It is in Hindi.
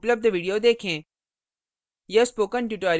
निम्न link पर उपलब्ध video देखें